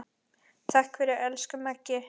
Takk fyrir, elsku Maggi.